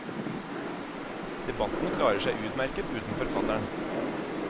Debatten klarer seg utmerket uten forfatteren.